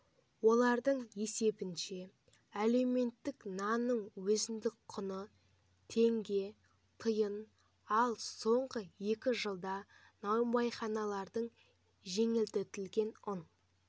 олардың есебінше әлеуметтік нанның өзіндік құны теңге тиын ал соңғы екі жылда наубайханаларға жеңілдетілген ұн